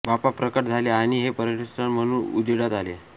बाप्पा प्रकट झाले आणि हे पर्यटनस्थळ म्हणून उजेडात आले